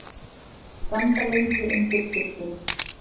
Standa lengi undir sturtunni.